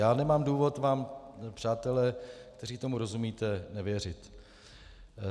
Já nemám důvod vám, přátelé, kteří tomu rozumíte, nevěřit.